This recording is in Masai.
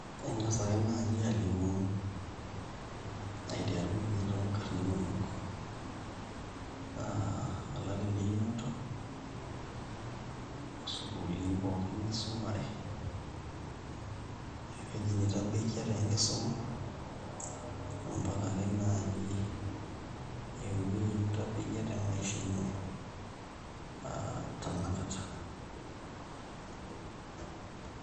Ing'as ake naai alimu aiteru ninye toonkarn inonok aa o lari leinoto osukuulini pookin nisumare o ewueji nitabaikia tenkisuma ompaka ake naai ewuei nitabaikia temaisha ino aa tanakata.